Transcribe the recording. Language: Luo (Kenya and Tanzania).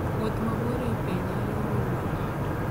Wuoth mabor e pe nyalo olo ng'ato.